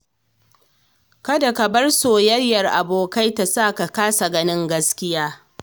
Kada ka bar soyayyar abokai ta sa ka kasa ganin gaskiya.